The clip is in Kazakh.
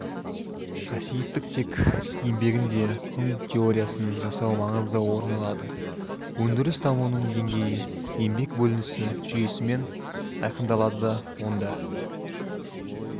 қасиеттік тек еңбегінде құн теоиясын жасау маңызды орын алады өндіріс дамуының деңгейі еңбек бөлінісі жүйесімен айқындалады онда